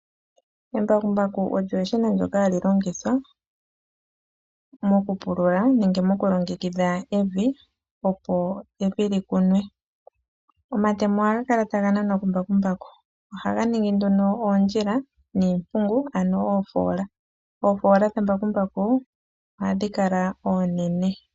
Embakuku olyo eshina lyoka hali longithwa mokupulula nenge moku longekidha evi opo evi likunwe . Omatemo ohaga kala taga nanwa kumbakuku . Ohaga ningi nduno oondjila niimpungu ano oofoola . Oofoola dhambakuku ohadhi kala onene .